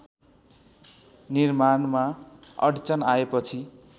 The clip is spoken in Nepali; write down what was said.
निर्माणमा अड्चन आएपछि